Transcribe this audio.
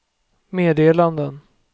meddelanden